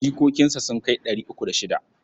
Jikokinsa sun kai ɗari uku da shida.